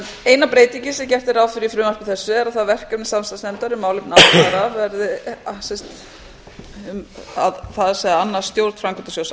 eina breytingin sem gert er ráð fyrir í frumvarpi þessu er að það verkefni samstarfsnefndar um málefni aldraðra það er að annast stjórn framkvæmdasjóðs